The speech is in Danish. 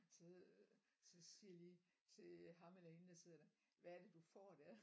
Så så siger jeg lige til ham eller hende der sidder der hvad er det du får der?